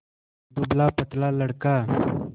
दुबलापतला लड़का